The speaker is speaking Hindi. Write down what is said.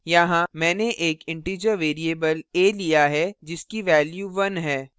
यहाँ मैंने एक integer variable a लिया है जिसकी value 1 है